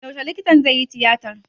Yaushe likitan zaiyi tiyatar?